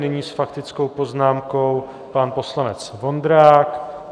Nyní s faktickou poznámkou pan poslanec Vondrák.